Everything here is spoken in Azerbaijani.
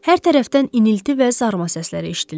Hər tərəfdən inilti və zarıma səsləri eşidilirdi.